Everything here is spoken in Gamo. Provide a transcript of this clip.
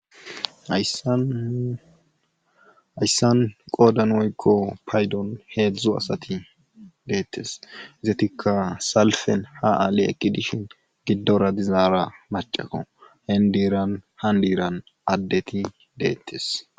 Hayssan qoodan oykko paydon heedzdzo asati deettes izetikka salfen ha aale ekki dishin giddora dizaara macaqo hendiiran han diiran addeti deettes.